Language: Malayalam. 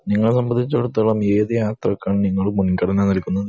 ഇങ്ങളെ സംബന്ധിച്ചിടത്തോളം ഏത് യാത്രക്കാണ് നിങ്ങൾ മുൻഗണന നൽകുന്നത്